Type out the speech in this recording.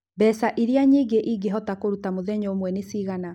Mbeca iria nyingĩ ingĩhota kũruta mũthenya ũmwe nĩ cigana?